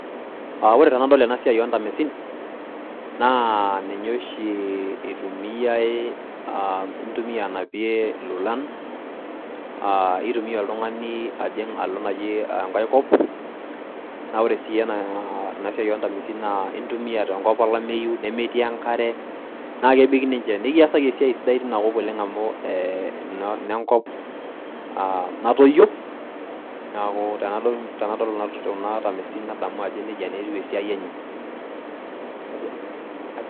Aa ore tenadol ena siai oo ntamesin naa ninye oshi itumiayay , intumia anapie ilolan aa itumia oltungani ajing alo naji enkae kop naa ore si ena , ena siai oontamesin naa, intumia tenkop olameyu , nemetii enkare, naa kebik ninche , nikiasaki esiai sidai tina kop amu ee ine nkop e natoyio . niaku tenadol kuna tamesin nadamu ajo nejia naa etiu esiai enye.